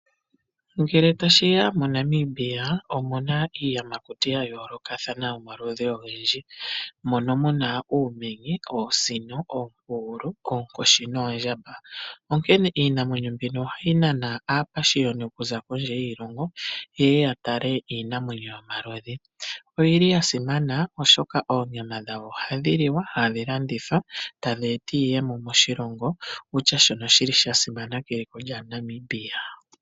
Ngele tashiya moNamibia omuna iiyamakuti ya yoolokothana yomaludhi ogendji moka muna uumenye, oosino, oompugulu, oonkoshi noondjamba. Onkene iinamwenyo mbika ohayi nana aapashiyoni okuza kondje yiilongo ye ye yatale iinamwenyo yomaludhi, noyili yasimana oshoka oonyama dhawo ohadhi liwa, tadhilandithwa ta dheeta iiyemo moshilongo shono shili sha simana keliko lyaNamibia.